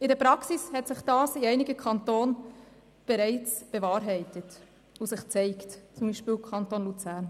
In der Praxis hat sich dies in einigen Kantonen bereits bewahrheitet, zum Beispiel im Kanton Luzern.